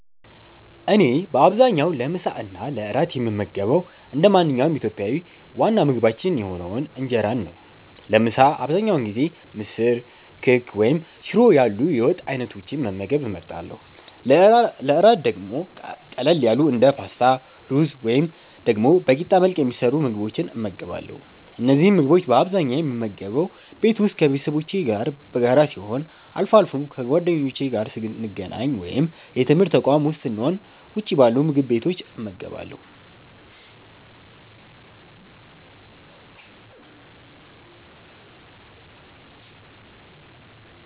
እኔ በአብዛኛው ለምሳ እና ለእራት የምመገበው እንደ ማንኛውም ኢትዮጵያዊ ዋና ምግባችን የሆነውን እንጀራን ነው። ለምሳ አብዛኛውን ጊዜ ምስር፣ ክክ ወይም ሽሮ ያሉ የወጥ አይነቶችን መመገብ እመርጣለሁ። ለእራት ደግሞ ቀለል ያሉ እንደ ፓስታ፣ ሩዝ ወይም ደግሞ በቂጣ መልክ የሚሰሩ ምግቦችን እመገባለሁ። እነዚህን ምግቦች በአብዛኛው የምመገበው ቤት ውስጥ ከቤተሰቦቼ ጋር በጋራ ሲሆን፣ አልፎ አልፎም ከጓደኞቼ ጋር ስገናኝ ወይም የትምርት ተቋም ዉስጥ ስሆን ውጭ ባሉ ምግብ ቤቶች እመገባለሁ።